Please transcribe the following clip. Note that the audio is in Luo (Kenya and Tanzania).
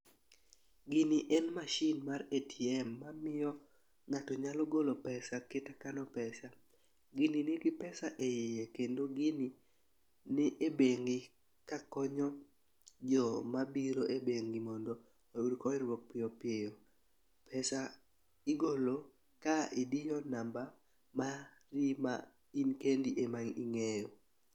Gini en mashin mar ATM mamiyo ng'ato nyalo golo pesa kendo kano pesa. Gini nigi pesa e iye kendo gini ni e bengi kakonyo joma biro e bengi mondo oyud konyruok piyo piyo. Pesa igolo ka idiyo namba mari ma in kendi ema ing'eyo.